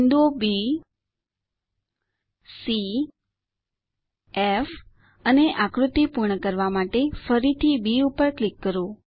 બિંદુઓ B C F અને આકૃતિ પૂર્ણ કરવા માટે ફરીથી બી ઉપર ક્લિક કરો